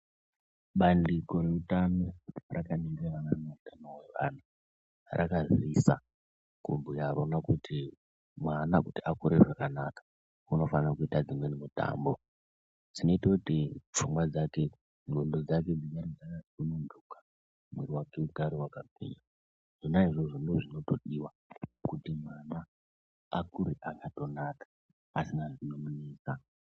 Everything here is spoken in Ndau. Bandiko reutano rakaningirana neutano hweana rakaziisa rikaona kuti mwana akure zvakanaka unofanire kuite dzimweni mitambo dzinoite kuti pfungwa dzake , ndxondo dzake dzirambe dzakasunhunuka, mwiri wake ugare wakagwinya. Zvona izvozvo ndozvinotodiwa kuti mwana akure akatonaka asina zvinomunetsa.